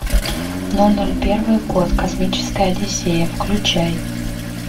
ноль ноль первый год космическая одиссея включай